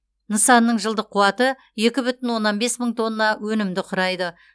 нысанның жылдық қуаты екі бүтін оннан бес мың тонна өнімді құрайды